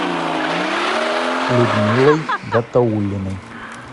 людмилой гатауллиной